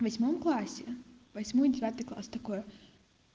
восьмом классе восьмой девятый класс такое